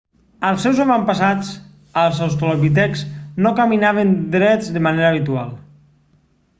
els seus avantpassats els australopitecs no caminaven drets de manera habitual